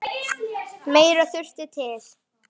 Meira þurfi til.